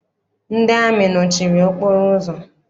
Ndị amị nọchiri okporo ụzọ.